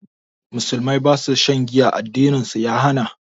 Musulmai ba su shan giya, addinin su ya hana.